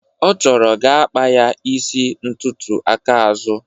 ọ chọrọ ga akpa ya isi ntutu aka azụ.